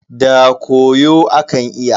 Da koyo akan iya.